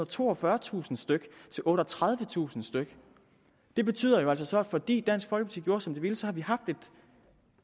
og toogfyrretusind stykke til otteogtredivetusind stykke det betyder altså at fordi som dansk folkeparti ville har vi haft